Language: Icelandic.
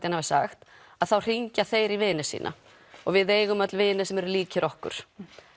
hann hafi sagt þá hringja þeir í vini sína og við eigum öll vini sem eru líkir okkur